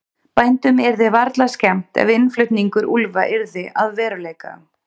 bændum yrði varla skemmt ef innflutningur úlfa yrði að veruleika